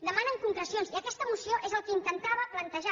demanen concrecions i aquesta moció és el que intentava plantejar